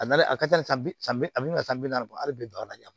A nali a ka ca san bi saba ani san bi naani bɔ a bi don a la